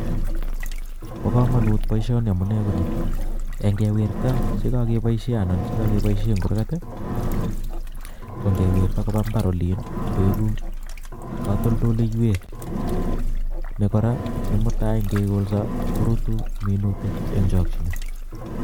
baa kamangut baishonii amune konii eng ngewirtaa che kagebaishe anan che kageibaishe eng kurgat ko ngewirta kobaa mbar olin ip koegu ktaoltaiwek nee koraa eng mutai ngee kolsaa ko minutik eng chakchinet